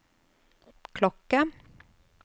klokke